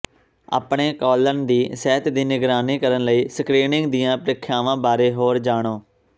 ਆਪਣੇ ਕੌਲਨ ਦੀ ਸਿਹਤ ਦੀ ਨਿਗਰਾਨੀ ਕਰਨ ਲਈ ਸਕ੍ਰੀਨਿੰਗ ਦੀਆਂ ਪ੍ਰੀਖਿਆਵਾਂ ਬਾਰੇ ਹੋਰ ਜਾਣੋ